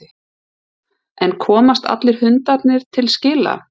En komast allir hundarnir til skila?